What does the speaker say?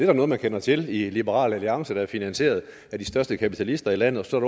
da noget man kender til i liberal alliance der er finansieret af de største kapitalister i landet og så er